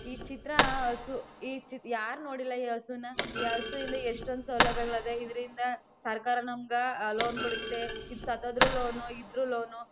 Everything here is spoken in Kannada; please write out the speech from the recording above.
ಈ ಚಿತ್ರ ಹಸು ಈ ಯಾರ್ ನೋಡಿಲ್ಲ ಹಸುನಾ ಈ ಹಸು ಇಂದ ಎಷ್ಟೊಂದು ಸೌಲಭ್ಯಗಳ್ ಅದೇ ಇದ್ರಿಂದ ಸರ್ಕಾರ ನಮಗ್ ಲೋನ್ ಕೊಡುತ್ತೆ ಈದ್ ಸತ್ತಹೋದ್ರು ಲೋನ್ ಇದ್ರೂ ಲೋನ್ --